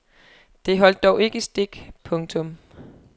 Det holdt dog ikke stik. punktum